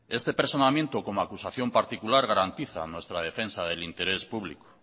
este personamiento como acusación particular garantiza nuestra defensa del interés público